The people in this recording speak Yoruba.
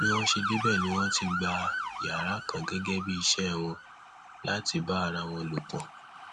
bí wọn ṣe débẹ ni wọn ti gba yàrá kan gẹgẹ bíi iṣẹ wọn láti bá ara wọn lò pọ